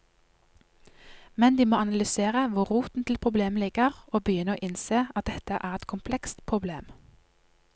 Men de må analysere hvor roten til problemet ligger og begynne å innse at dette er et komplekst problem.